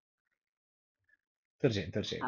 തീർച്ചയായും തീർച്ചയായും